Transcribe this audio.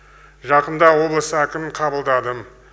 жақында облыс әкімін қабыладым